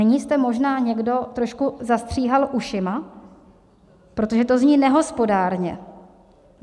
Nyní jste možná někdo trošku zastříhal ušima, protože to zní nehospodárně.